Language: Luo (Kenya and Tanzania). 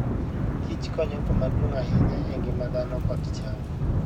Kich konyo kama duong' ahinya e ngima dhano kod cham.